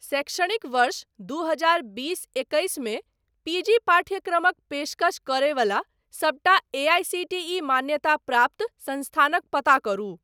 शैक्षणिक वर्ष दू हजार बीस एकैस मे पीजी पाठ्यक्रमक पेशकश करयवला सबटा एआईसीटीई मान्यताप्राप्त संस्थानक पता करु।